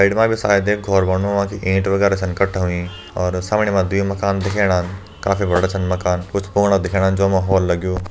Side मा भी शायद एक घर बणनू व की ईंट वगरह छन कठा होईं और सामने मां दुई मकान दिखेणा काफी बड़ा छन मकान कुछ फुंगडा दिखेणा जों मा होल लग्युं।